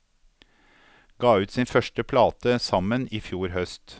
Ga ut sin første plate sammen i fjor høst.